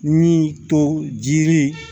Min to jiri